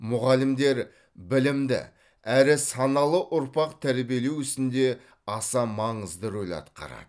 мұғалімдер білімді әрі саналы ұрпақ тәрбиелеу ісінде аса маңызды рөл атқарады